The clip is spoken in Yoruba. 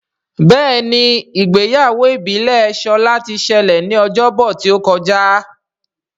Béèni Ìgbéyàwó ìbílè Shola tí ṣẹlẹ ní Ọjọ́ Bọ̀ tíó kọjá.